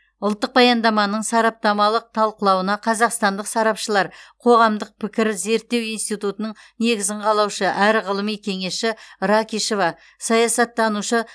ұлттық баяндаманың сараптамалық талқылауына қазақстандық сарапшылар қоғамдық пікір зерттеу институтының негізін қалаушы әрі ғылыми кеңесші ракишева саясаттанушы